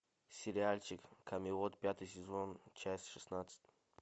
сериальчик камелот пятый сезон часть шестнадцать